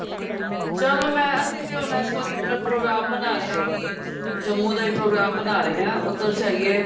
ਚਲ ਮੈਂ ਅਸੀਂ ਤਾਂ ਹੁਣ ਇਸ ਵਾਰੀ program ਬਾ ਰਹੇ ਹਾਂ ਕਿ ਜੰਮੂ ਦਾ ਹੀ program ਬਣਾ ਰਹੇ ਹਾਂ ਉੱਧਰ ਜਾਈਏ